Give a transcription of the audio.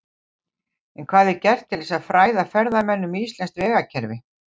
En hvað er gert til að fræða ferðamenn um íslenskt vegakerfi?